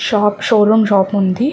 Shop showroom shop ఉంది.